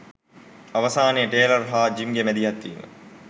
අවසානයේ ටේලර් හා ජිම්ගේ මැදිහත් වීම